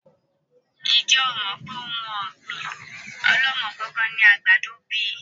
Ń jẹ́ ó mọ wípé òun ọ̀gbín ọ̀lọ́mọ-kọọ-kan ni àgbàdo bíi?